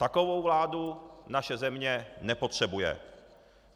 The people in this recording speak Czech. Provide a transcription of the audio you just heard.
Takovou vládu naše země nepotřebuje.